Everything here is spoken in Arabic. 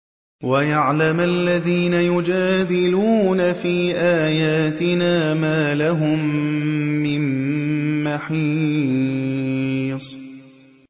وَيَعْلَمَ الَّذِينَ يُجَادِلُونَ فِي آيَاتِنَا مَا لَهُم مِّن مَّحِيصٍ